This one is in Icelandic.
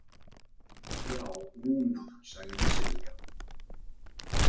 Já, núna, sagði Silja.